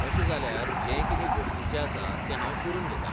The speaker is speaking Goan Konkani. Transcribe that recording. तशें जाल्यार जें कितें गरजेचें आसा तें हांव करून घेतां.